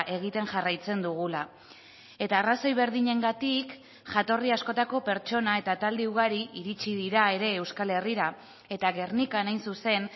egiten jarraitzen dugula eta arrazoi berdinengatik jatorri askotako pertsona eta talde ugari iritsi dira ere euskal herrira eta gernikan hain zuzen